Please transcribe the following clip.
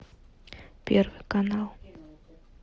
первый канал